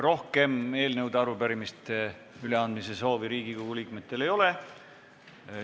Rohkem eelnõude ja arupärimiste üleandmise soovi Riigikogu liikmetel ei ole.